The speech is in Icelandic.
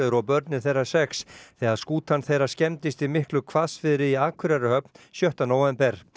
og börnin þeirra sex þegar skútan þeirra skemmist í miklu hvassviðri í Akureyrarhöfn sjötta nóvember